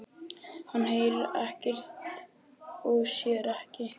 Hann heyrir ekkert og sér ekkert.